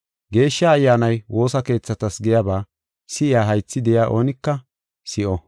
Geeshsha Ayyaanay woosa keethatas giyaba si7iya haythi de7iya oonika si7o.